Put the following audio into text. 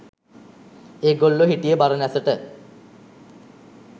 ඒගොල්ලො හිටිය බරණැසට